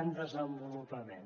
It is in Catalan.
en desenvolupament